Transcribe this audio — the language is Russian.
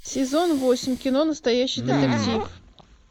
сезон восемь кино настоящий детектив